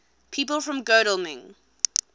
people from godalming